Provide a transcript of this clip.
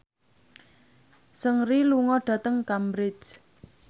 Seungri lunga dhateng Cambridge